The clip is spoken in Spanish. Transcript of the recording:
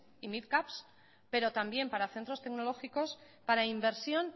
y midcaps pero también para centros tecnológicos para inversión